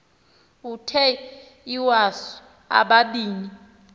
uthe iwasu ubabini